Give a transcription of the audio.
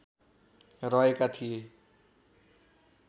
रहेका थिए।